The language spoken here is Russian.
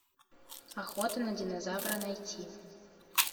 охота на динозавра найти